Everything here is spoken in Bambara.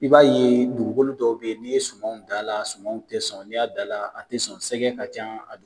I b'a ye dukukolo dɔw be yen, ni ye sumanw dan a la, a sumanw tɛ sɔn, n'i y'a dan la, a ti sɔn sɛgɛn ka ca a du